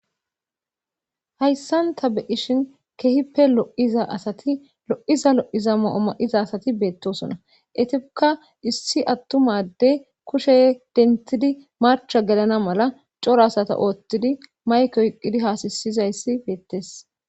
Hayssanta beishin kehippe lo'iza asati lo'iza lo'iza ma'oma'iza asati beettosona etiukka issi attumade kushe dentidi marcha gelana mala coro asata oottidi maykoyqqidi haasasizayssi beettees.